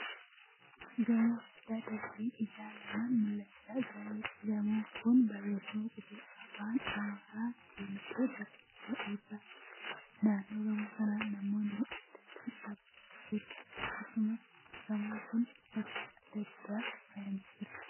Gamoo guddaa darbiin isaa lamaan mul'achaa jiraniidha. Gamoon kun barreeffama qubee afaan Amaaraan diimatee barreeffame ofi irraa qaba. Naannoo gamoo kanaa namoonni adda addaa dhaabbachaa jiru. Akkasumallee gamoon kun barjaa adda addaan faayyamee jira.